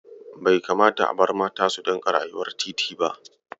Bai kamata a bar mata su dinga rayuwar titi ba.